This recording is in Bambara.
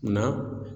Nka